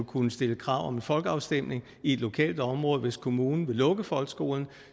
kunne stille krav om en folkeafstemning i et lokalt område hvis kommunen vil lukke folkeskolen